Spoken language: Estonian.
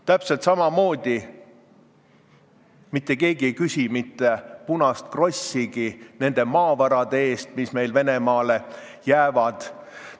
Täpselt samamoodi ei küsi mitte keegi mitte punast krossigi nende maavarade eest, mis Venemaale jäävad.